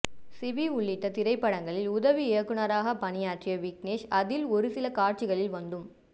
CV உள்ளிட்ட திரைப்படங்களில் உதவி இயக்குனராக பணியாற்றிய விக்னேஷ் அதில் ஒரு சில காட்சிகளில் வந்தும்